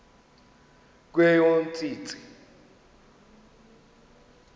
kweyomntsintsi